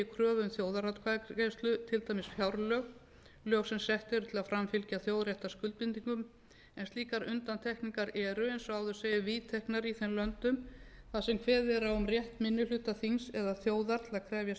kröfu um þjóðaratkvæðagreiðslu til dæmis fjárlög lög sem sett eru til að framfylgja þjóðréttarskuldbindingum en slíkar undantekningar eru eins og áður segir viðteknar í þeim löndum þar kveðið er á um rétt minni hluta þings eða þjóðar til að krefjast